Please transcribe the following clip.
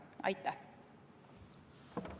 Aitäh!